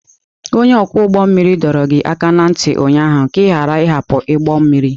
Onye ọkwọ ụgbọ mmiri dọrọ gị aka ná ntị ụnyaahụ ka ị ghara ịhapụ ụgbọ mmiri!